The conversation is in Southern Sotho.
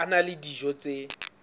a na le dijo tse